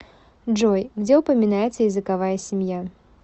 джой где упоминается языковая семья